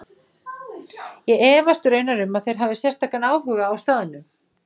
Er það ekki stórfurðulegt!